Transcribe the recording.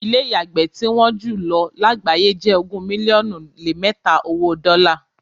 Ilé́ ìyàgbẹ́ tí wọ́n jùlọ lágbàáyé jẹ ogún mílíọ́nù lé mẹta owó dọ́la.